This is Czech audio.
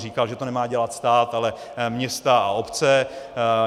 Říkal, že to nemá dělat stát, ale města a obce.